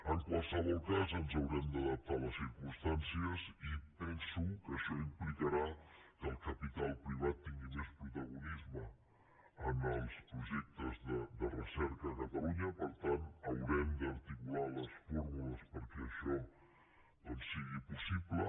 en qualsevol cas ens haurem d’adaptar a les circumstàncies i penso que això implicarà que el capital privat tingui més protagonisme en els projectes de recerca a catalunya per tant haurem d’articular les fórmules perquè això sigui possible